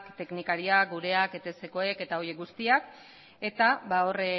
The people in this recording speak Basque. teknikariak gureak etskoek eta horiek guztiak eta hor